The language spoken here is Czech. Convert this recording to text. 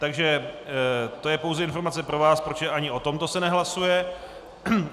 Takže to je pouze informace pro vás, protože ani o tomto se nehlasuje.